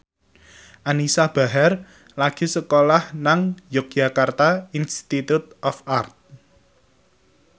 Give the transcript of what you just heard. Anisa Bahar lagi sekolah nang Yogyakarta Institute of Art